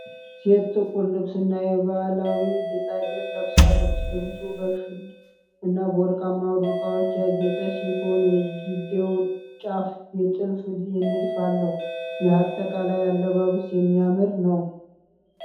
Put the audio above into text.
ሴት ጥቁር ልብስና የባህላዊ ጌጣጌጥ ለብሳለች። ልብሱ በሸል እና በወርቃማ ዶቃዎች ያጌጠ ሲሆን፣ የእጅጌው ጫፍ የጥልፍ ንድፍ አለው። ይህ አጠቃላይ አለባበስ የሚያምር ነው?